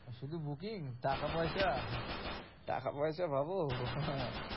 আর শুধু booking টাকা-পয়সা? টাকা পয়সা ভাবো? হ্যাঁ